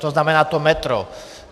To znamená to metro.